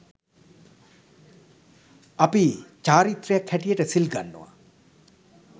අපි චාරිත්‍රයක් හැටියට සිල් ගන්නවා.